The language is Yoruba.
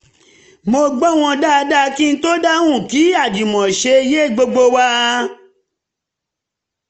mo gbọ́ wọn dáadáa kí n tó dáhùn kí àjùmọ̀ṣe yé gbogbo wa